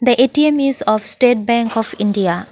the A_T_M is of state bank of india.